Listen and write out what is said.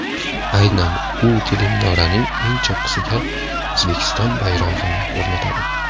Aynan u teleminoraning eng cho‘qqisiga O‘zbekiston bayrog‘ini o‘rnatadi.